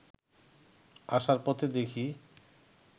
আসার পথে দেখি